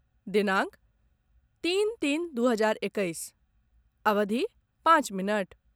दिनांक तीन तीन दू हजार एकैस, अवधि पाँच मिनट